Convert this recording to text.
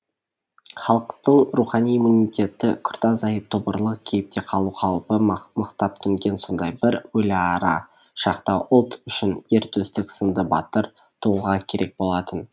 халықтын рухани иммунитеті күрт азайып тобырлық кейіпте қалу қаупі мықтап төнген сондай бір өліара шақта ұлт үшін ер төстік сынды батыр тұлға керек болатын